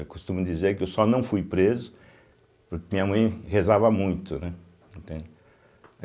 Eu costumo dizer que eu só não fui preso porque minha mãe rezava muito, né, entende.